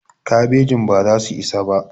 kabejin baza su isa ba